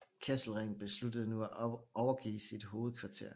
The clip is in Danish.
Kesselring besluttede nu at overgive sit hovedkvarter